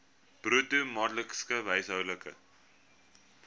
bruto maandelikse huishoudelike